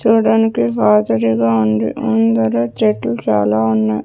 చూడ్డానికి ఫాల్ సిటీ లా ఉంది ముందర చెట్లు చాలా ఉన్నాయ్.